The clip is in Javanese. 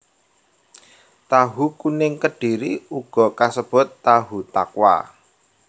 Tahu kuning Kedhiri uga kasebut tahu takwa